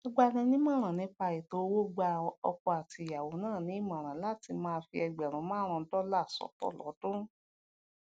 agbaninìmòràn nípa ètò owó gba ọkọ àti ìyàwó náà ní ìmòràn láti máa fi ẹgbèrún márún-ún dólà sótò lódún